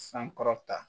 Sankɔrɔta